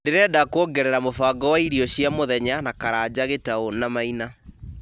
ndĩrenda kwongerera mũbango wa irio cia mũthenya na karanja gĩtau na maina